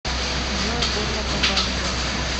джой горло побаливает